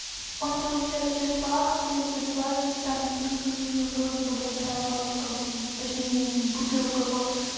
он получается сейчас по акции за двадцать там три гривны вроде бы большая пачка точнее бутылка вот